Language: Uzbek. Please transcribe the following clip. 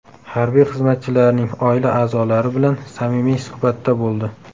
Harbiy xizmatchilarning oila a’zolari bilan samimiy suhbatda bo‘ldi.